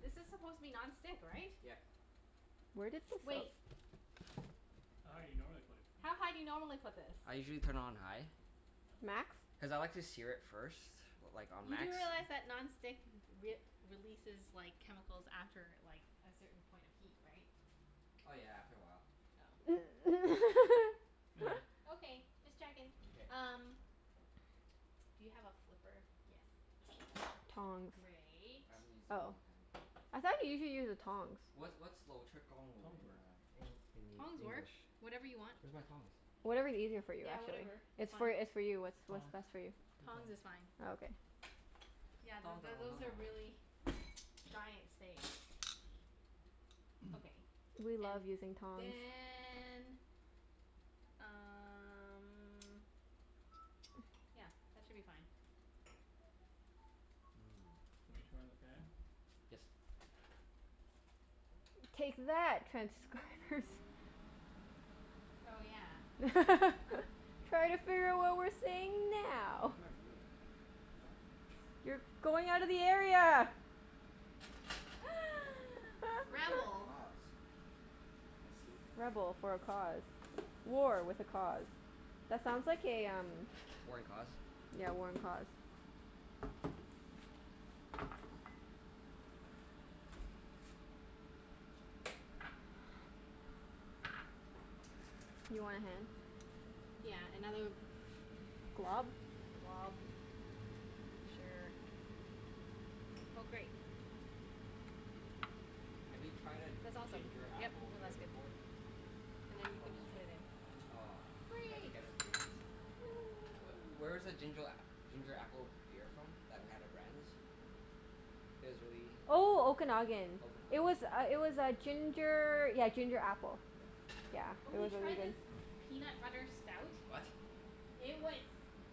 This is supposed to be non-stick, right? Yep. Where did this of- Wait. How high you normally put it? How high do you normally put this? I usually turn it on high Oh. Max? cuz I like to sear it first. Like on You do max. realize that non-stick w- we- releases like, chemicals after like, a certain point of heat, right? Oh yeah, after a while. Oh, okay. Meh. Okay, just checking. K. Um Do you have a flipper? Yes. Tongs. Great. I haven't used it in a Oh, long time. I thought usually you use the tongs? What's what's in uh Tongs work. En- in Tongs work. English? Whatever you want. Where's my tongs? Whatever's easier for you, Yeah, actually. whatever. It's It's fine. for, it's for you. It's what's Tongs. best for you. Use Tongs tongs. is fine. Oh, okay. Yeah, Tong th- to- th- tong those tong are tong. really giant steak. Okay. We And love using tongs. then um Yeah, that should be fine. Mmm. Wanna turn on the fan? Yes. Take that, transcribers. Oh yeah. Try to figure out what we're saying now. Where's my broom? Oh. You're going outta the area! For a good Rebel. cause. I see. Rebel for a cause. War with a cause. That sounds like a um War and cause? Yeah, war and cause. You want a hand? Yeah, another Glub? glob. Sure. Oh, great. Have you tried a That's awesome. ginger Yep. apple No, beer that's good. before? And then you From, can just No. put it in. aw, we have to Great. get it for you next time. Wh- Woohoo. where's the ginger a- ginger apple beer from, that we had at Brandi's? It was really Oh, Okanagan. It Okanagan? was uh it was uh ginger, yeah ginger apple. Yeah. Really Yeah, good. Oh, it we was really tried Hmm. this good. peanut butter stout. What? It was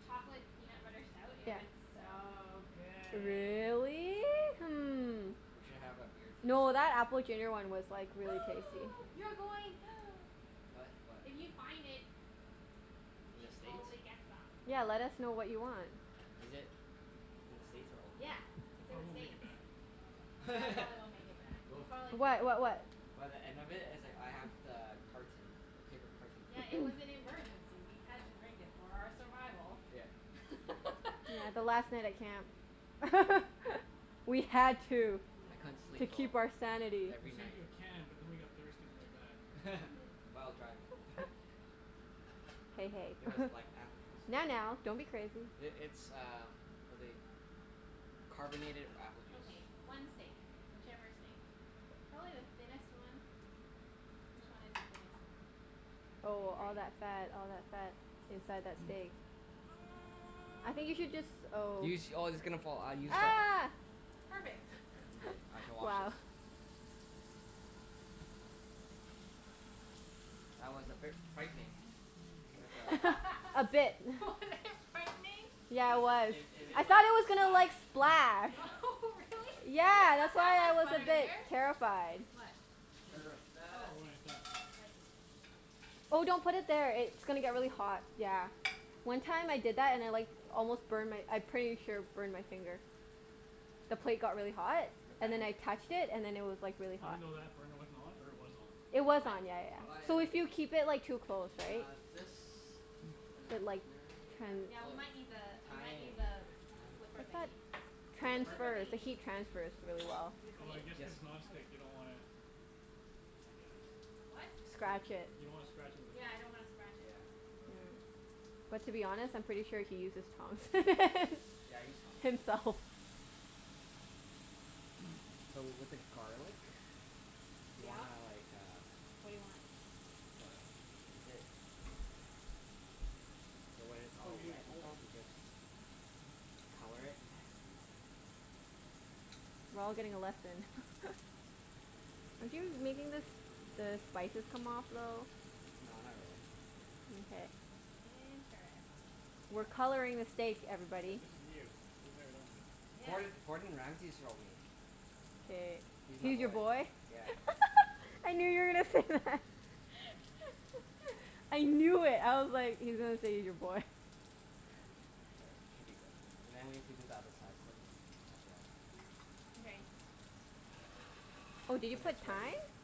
chocolate peanut butter stout. It was Yeah. so good. Really? Hmm. We should have a beer tasting. No, that apple ginger one was like, really tasty. You're going What? What? If you find it we In the should States? totally get some. Yeah, let us know what you want. Is it in the States or Yeah, Okanagan? It it's in the probably won't make States. it back. Yeah, it probably won't make it back. You'll Oh. probably drink What? it. What what? By the end of it, it's like I have the carton. The paper carton for Yeah, it you. was an emergency. We had to drink it for our survival. Yeah. Yeah, the last night at camp. We had to. We I had couldn't To sleep to. for, keep our sanity. We every saved night. you a can but then we got thirsty on the way back. While driving. Hey, It was hey. like apple juice. Now, now, don't be crazy. I- it's uh what they, carbonated apple juice. Okay, one steak. Whichever steak. Probably the thinnest one. Which one is the thinnest one? Okay, Oh, great. all that fat, all that fat K. inside that steak. I think you should jus- oh. You sh- oh, it's gonna fall. Uh, you Use the tongs. sh- Ah! Perfect. Okay. I shall wash Wow. this. That was a bit frightening. With a A bit. Was it frightening? Yeah, Cuz it it was. it it I it like thought it was gonna splash like, splash. Yeah. Really? Yeah, that's why I was a bit terrified. What? It's clean plate. Terrified. Oh, For when it's done. I see. Oh, don't put it there. It's gonna get really hot. Yeah. One time I did that and I like almost burned my, I pretty sure burned my finger. The plate got really hot Your and then fan I did. touched it, and then it was like really hot. Even though that burner wasn't on, or it was on? It was What? on, yeah yeah Oh, Oh yeah. yeah, So I okay. if you know. keep it like too close, And right? uh this. Is it But like rosemary that tran- I, Yeah, we oh, might need the, we might thyme. need the flipper I thought thingie. Thyme The The ripper? flipper transfers. The thingie. heat transfers really well. Is it Oh, clean? I guess Yes. cuz Okay. non-stick you don't wanna I guess. What? You d- Scratch it. you don't wanna scratch it with the Yeah, I tongs. don't wanna scratch it. Yeah. Okay. But to be honest, I'm pretty sure he uses prongs. Yeah, I use tongs. Himself. So w- with the garlic you Yeah? wanna like, uh What do you want? Garlic. Is it So when it's Oh, all you do wet it and whole. stuff you just color it. We're all getting a lesson. Are you making the s- the spices come off a little? No, not really. Mkay. Interesting. We're coloring the steak, Yeah, everybody. this is new. We've never done this. Yeah. Gord- Gordon Ramsey showed me. K. He's my He's your boy. boy? Yeah. I knew you were gonna say that. I knew it. I was like, he's gonna say he's your boy. There. Should be good. And then we have to do the other side quickly, as well. Mkay. Oh, did you put thyme?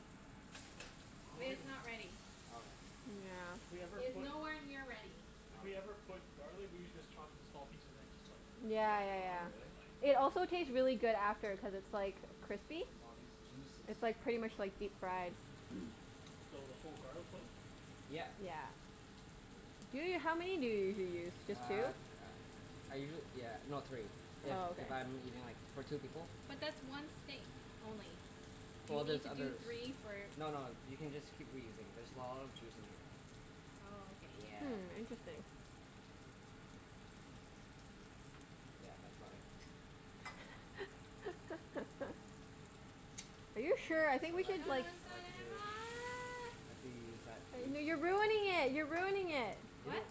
It If is w- not ready. Okay. Yeah. If we ever It is put nowhere near ready. If we ever Okay. put garlic, we usually just chop it in small pieces and then just like Yeah rub it yeah Oh on, yeah. but really? like It also taste really good after cuz it's like crispy. Look at all these juices. It's like pretty much like deep fried. So, the whole garlic clove? Yeah. Yeah. Yeah. Ju- how many do you usually use? Uh Just two? uh, I usuall- yeah, no, three. If Oh, okay. if I'm eating like, for two people. But that's one steak only. You Well need there's to do others. three for No no, you can just keep reusing. There's a lot of juice in here. Oh, okay. Yeah. Hmm, interesting. Yeah, that's about it. Are you So sure? I think we No let's should no, do like it's not side two. I could use that piece. N- no you're ruining it! You're ruining it! Really? What?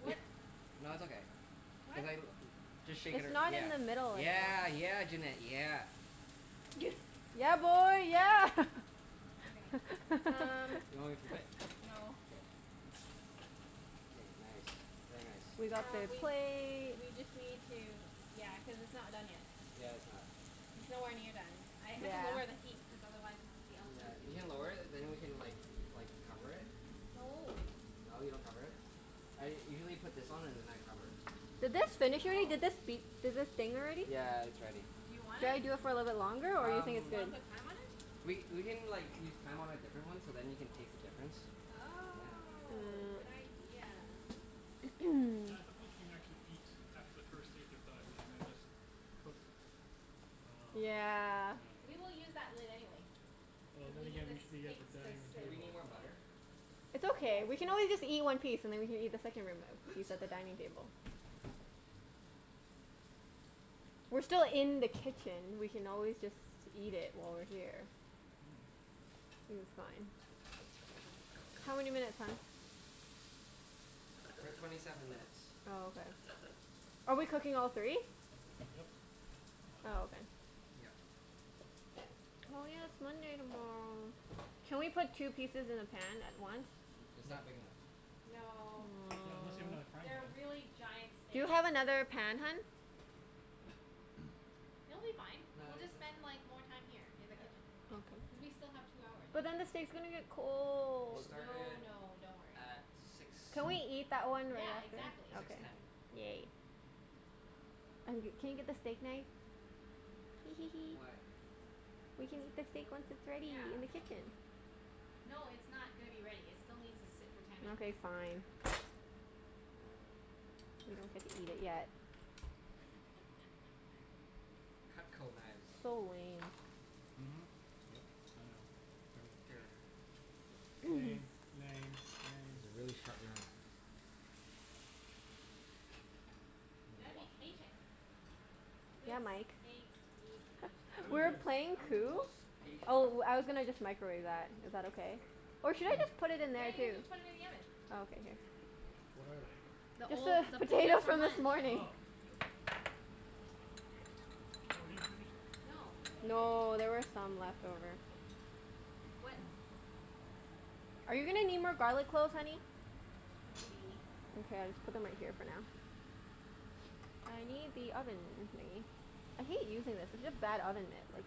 What Wh- nah, it's okay. Cuz What? I l- just shake it It's ar- not in the middle yeah, anymore. yeah. Yeah, Junette, yeah. Yeah, boy, yeah! Okay, um Do you want me to flip it? No. K. K, nice. Very nice. We got Um, the we plate. we just need to, yeah, cuz it's not done yet. Yeah, it's not. It's nowhere near done. I had to lower the Yeah. heat cuz otherwise the Yeah. outside was You gonna can get lower it and then we can like like cover it. No. No, you don't cover it? I usually put this on and then I cover it. Did this finish already? Oh. Did this beep? Did this ding already? Yeah, it's ready. Do you want Should I it? do it for a little longer or you Um, think Do it's you wanna good? put thyme on it? we we can like, use thyme on a different one so then you can taste the difference. Yeah. Oh, good Mm. idea. Yeah, I suppose we can actually eat after the first steak is done, and then just cook I dunno. Yeah. I We will dunno. use that lid anyway Oh, cuz then we need again the we should be at the steaks to dining room sit. Do we table, need more so butter? It's Yes, okay. We we can will. always just eat one piece and then we can eat the second room a- piece at the dining table. We're still in the kitchen. We can always just eat it while we're here. Mm. Think it's fine. How many minutes, hun? We're at twenty seven minutes. Oh, okay. Are we cooking all three? Yep. Might as Oh, well. okay. Yep. Oh yeah, it's Monday tomorrow. Can we put two pieces in the pan at once? N- it's not Nope. big enough. No. Not unless you have another Aw. frying pan? They're really giant Do you steaks. have another pan, hun? It'll be fine. No, We'll it's it's just okay. spend like, more time here in the Yeah. kitchen. Cuz Okay. we still have two hours, But then the anyway. steak's gonna get We cold. No started no, don't worry. at six, Can we eat that one Yeah, right after? exactly. six Okay, ten. yay. I'm g- can you get the steak knife? Hee hee hee. Why? We can Cuz eat the w- stake once wh- it's ready w- in the yeah. Oh. kitchen. No, it's not gonna be ready. It still needs to sit for ten minutes. Okay, fine. One. We don't get to eat it yet. Cutco knives. So lame. Mhm. Yep. I know. Everything's Here. lame. Lame. Lame. These Lame. are really sharp knives. I'm You gotta gonna be wash mine. patient. Good Yeah, Mike. steaks need What I'm is We the, were this? patience. playing I'm the Coup. most patient. Oh, I was gonna just microwave that. Is that okay? Or should I just put it in Yeah, there, you can too? just put it in the oven. Oh, okay. Here. What are they? The Just old, the the potatoes potatoes from from this lunch. morning. Oh. Oh, we didn't finish them. No. Oh, okay. No, there were some left over. What Are you gonna need more garlic cloves, honey? Maybe. Okay, I'll just put them right here for now. I need the oven thingie. I hate using this. It's such a bad oven mitt, like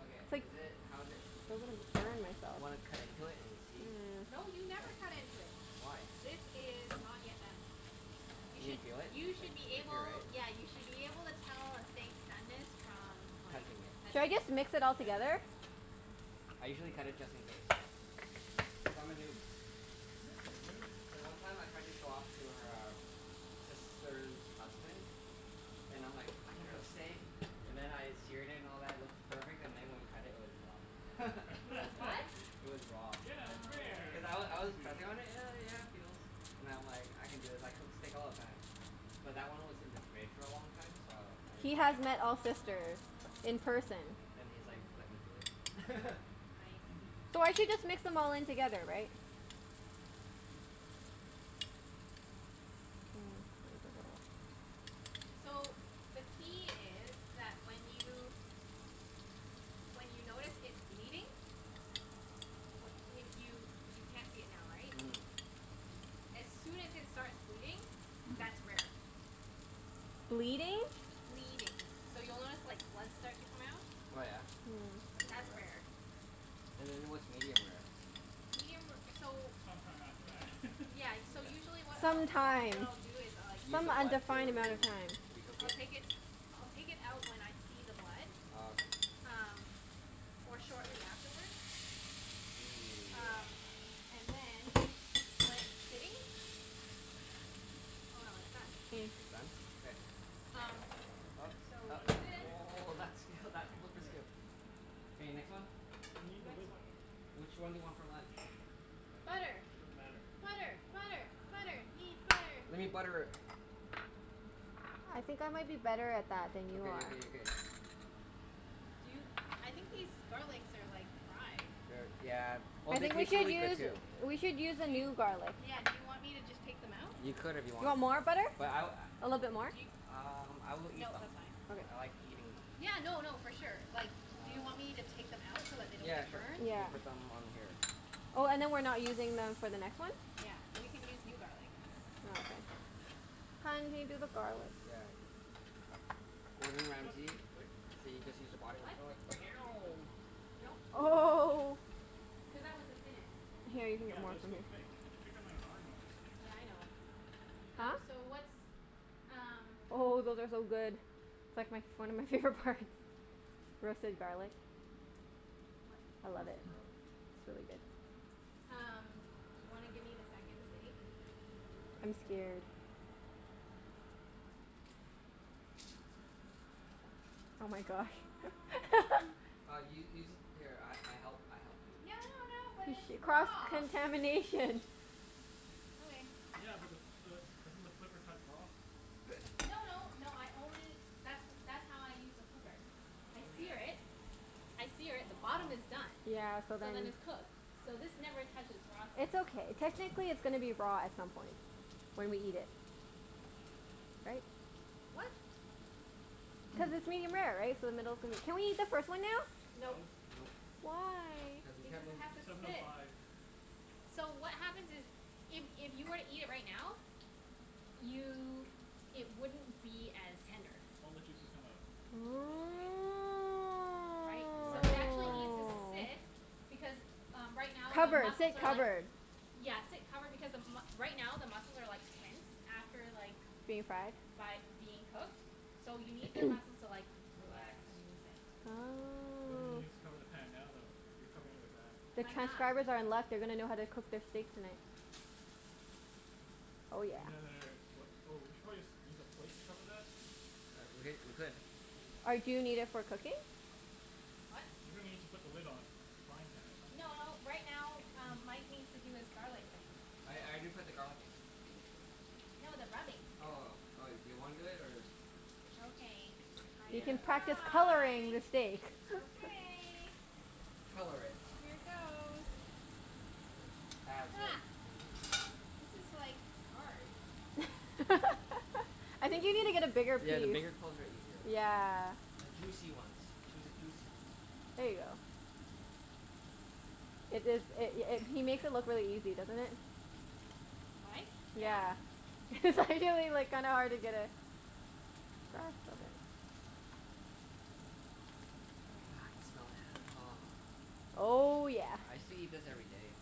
Okay, It's like, is feel it, how like is it? I'm Do gonna w- burn wanna cut myself. into it and see? Yeah. No, you never cut into it. Why? This is not yet done. You You can should, feel it? you should be Like, right? able, yeah, you should be able to tell a steak's doneness from like, Touching it. Should I touching it. just mix it all K. together? I usually cut it Sure. just in case. Cuz I'm a noob. You're a noob? Then one time I tried to show off to her um sister's husband and I'm like, "I can cook steak." And then I seared it and all that, it looks perfect. And then when we cut it, it was raw. It was what? It was raw. Yeah, it's Oh. rare! Cuz I I w- was meant I to was do that. pressing on it, and yeah, yeah it feels. And I'm like, I can do this. I cook steak all the time. But that one was in the fridge for a long time, so I didn't He think has met Ah. all of that. sisters in person. Then he's like, "Let me do Oh. it." I So I should see. just mix them all in together, right? Hmm. So, the key is that when you, when you notice it bleeding wh- if you, you can't see it now, right? Mhm. As soon as it starts bleeding, that's rare. Bleeding? Bleeding. So, you'll notice like, blood start to come out. Oh yeah? Mm. I didn't know That's that. rare. And then what's medium rare? Medium ra- so It's some time after that. Yeah, y- so Mkay. usually what I'll, Some what I, what time. I'll do is like Use Some the blood undefined to amount of time. recook I'll take it? it, I'll take it out when I see the blood. Oh, okay. Um, or shortly afterward. Ooh, yeah. Um, and then when it's sitting Oh no, it's done. Mm. It's done? K. Um, so What? Oh, we What, do this. really? oh, that skill, that That seems flipper quick. skill. K, next one. We need the Next lid, one. though. Which one do you want for lunch? I don't care. Butter. It doesn't matter. Butter! Butter! Butter! Need butter. We need butter. I think I might be better at that than you Okay are. okay okay. Do you, I think these garlics are like, fried. They're, yeah, well I they think we taste should really good use too. We should use a Do y- new garlic. yeah, do you want me to just take them out? You could if you You wanted. want more butter? But I w- A little bit more? Do yo- a- um I will eat No, them. that's fine. I Okay. like eating them. Yeah, no no, for sure. Like do you Um, y- want me to take them out so that they don't yeah get sure. burned? You Yeah. can put them on here. Oh, and then we're not using them for the next one? Yeah, we can use new garlic. Ah, okay. Hun? Do you do the garlic? Yeah. Gordon Was that Ramsay. too quick? So you just use a body What? Was that too quick? No? No? Oh. Cuz that was the thinnest. Here, you can get Yeah, but more that's from still here. thick. Thicker than our normal steaks. Yeah, I know. Huh? Um, so what's um Oh, those are so good. It's like my f- one of my favorite parts. Roasted garlic. What I love it. Roasted garlic. It's really good. Um, do you wanna give me the second steak? I'm scared. Oh my gosh. Uh u- use it, here I I help, I help you. No no no, but She, it's cross raw! contamination. Okay. Yeah, but the the, doesn't the flipper touch raw? No no, no I only that's w- that's how I use the flipper. I sear Okay. it I sear it. The bottom is uh-huh. done. Yeah, so So then then it's cooked. I So guess. this never touches raw side. It's okay. Technically it's gonna be raw at some point. When we eat it. Right? What? Cuz it's medium-rare, right? So the middle's gonna Can we eat the first one now? No. No. Nope. Why? Cuz the Because temper- it has to Seven oh sit. five. So what happens is if if you were to eat it right now you, it wouldn't be as tender. All the juices come out. Supposedly. Right? You're So it learning. You're actually learning. needs to sit Oh. because, uh right now the Covered. muscles Sit are like covered. Yeah, sit covered. Because the m- right now the muscles are like tense. After like Being fried? by being cooked. So you need the muscles to like, Relax. relax and loosen. Why don't Oh. you just cover the pan now though, if you're covering it with that? The I'm not. transcribers are in luck. They're gonna know how to cook their steaks tonight. Oh Do yeah. we need another, what? Oh, we should probably just use a plate to cover that? Uh, we h- we could. Or do you need it for cooking? What? You're gonna need to put the lid on, on the frying pan at some N- point, no, right? right now um Mike needs to do his garlic thing. I I Oh. did put the garlic in. No, the rubbing. Oh, oh. Do you wanna do it, or Okay, I You can can Yeah. practice coloring try. the steak. Okay. Color it. Here goes. As Ha. if. This is like, hard. I think you need to get a bigger Yeah, piece. the bigger cloves are easier. Yeah. The juicy ones. Choose a juicy ones. There ya go. It is, it i- it he makes it look really easy, doesn't it? Mike? Yeah. Yeah. It's actually like kinda hard to get a grasp of it. Okay. Ah, I can smell it. Aw. Oh yeah. I used to eat this every day.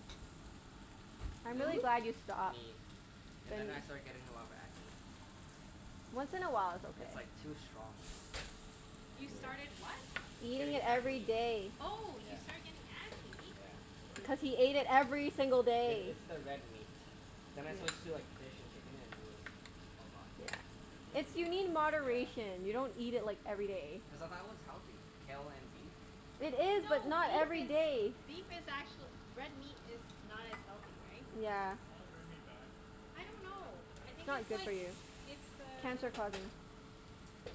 And I'm then, really glad you stopped. me. And then Then I started getting a lot of acne. Once in a while it's okay. It's like, too strong, you know? You started what? Eating Getting it every acne. day. Oh, Yeah. you started getting acne? Yeah. Really? Cuz he ate it every single I- day. it's the red meat. Then I Red meat Yeah. switched gives to you like fish and chicken and it was all gone. Yeah. Red meat It's, gives you you need acne? Yeah. moderation. You don't eat it like, every day. Cuz I thought it was healthy, kale and beef. It is, but No, not beef every is, day. beef is actuall- Red meat is not as healthy, right? Yeah. Why is red meat bad? I I don't didn't say it know. wasn't I bad. It's think not it's good for like, you. it's the Cancer causing.